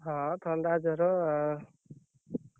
ହଁ ଥଣ୍ଡା ଜର।